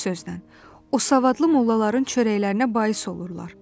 Bir sözlə, o savadlı mollaların çörəklərinə bais olurlar.